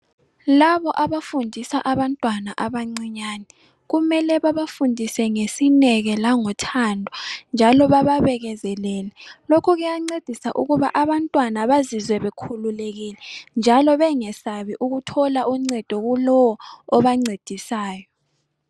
Labo abafundisa abantwana abancinyane kumele babafundise ngesineke langothando njalo bababekezelele lokhu kuyancedisa ukuba abantwana bazizwe bekhululekile njalo bengesabi ukuthola uncedo kulowo obancedisayo.